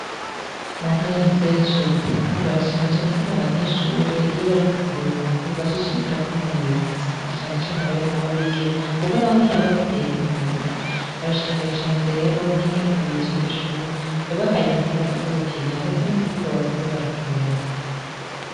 Mu ntana nziza yacu yarutana barashimacane ingene abanyeshure iyo barimo karuhuko bashishikara ko inonora imitsi na canecane ababera na babigeme, kuko na we nyene babakeneye koinonora imitsa barashimiye cane rero n'ingene umuyobozi w'iryoshure yabahaye imipira abaza gukina, ndetse n'ikibuga bazazo barakinirako.